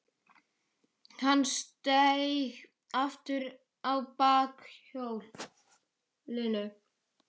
Hann steig aftur á bak hjólinu.